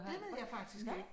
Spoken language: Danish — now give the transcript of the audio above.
Det ved jeg faktisk ikke